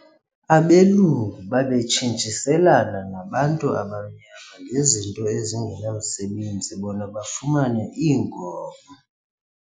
Abelungu babetshintshiselana nabantu abamnyama ngezinto ezingenamsebenzi bona bafumane iinkomo.